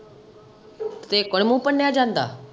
ਤੇਰੇ ਕੋ ਨੀ ਮੂੰਹ ਭੰਨਿਆ ਜਾਂਦਾ।